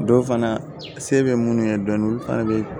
Dɔw fana se bɛ minnu ye dɔɔnin olu fana bɛ